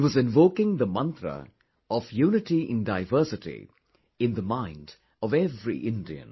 He was invoking the mantra of 'unity in diversity' in the mind of every Indian